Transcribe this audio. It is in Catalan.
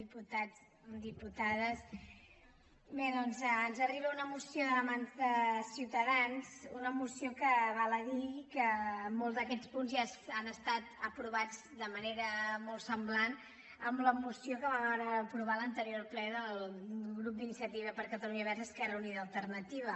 diputats diputades bé doncs ens arriba una moció de mans de ciutadans una mo·ció de què val a dir que molts d’aquests punts ja han estat aprovats de manera molt semblant amb la moció que vàrem aprovar l’anterior ple del grup d’iniciativa per catalunya verds · esquerra unida i alternativa